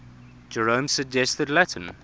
jerome's suggested latin